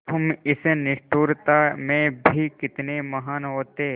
तुम इस निष्ठुरता में भी कितने महान् होते